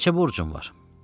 Neçə borcun var?